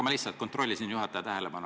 Ma lihtsalt kontrollisin juhataja tähelepanu.